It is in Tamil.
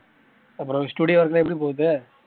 அப்பறம் studio work லாம் எப்படி போகுது